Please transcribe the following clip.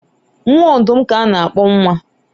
nwa ọdụm ka a na-akpọ nwa